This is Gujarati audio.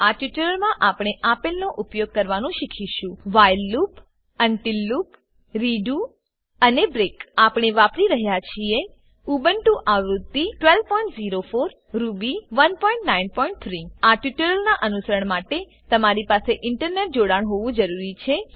આ ટ્યુટોરીયલમાં આપણે આપેલનો ઉપયોગ કરવાનું શીખીશું while loop while loop until loop until loop redo redo અને બ્રેક બ્રેક આપણે વાપરી રહ્યા છીએ ઉબુન્ટુ આવૃત્તિ 1204 રૂબી 193 આ ટ્યુટોરીયલનાં અનુસરણ માટે તમારી પાસે ઇન્ટરનેટ જોડાણ હોવું જરૂરી છે